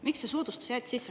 Miks see soodustus sisse jäeti?